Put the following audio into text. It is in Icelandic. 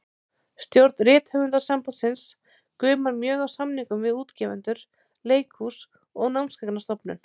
Stjórn Rithöfundasambandsins gumar mjög af samningum við útgefendur, leikhús og Námsgagnastofnun.